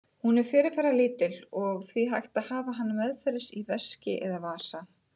Hún er fyrirferðarlítil og því hægt að hafa hana meðferðis í veski eða vasa.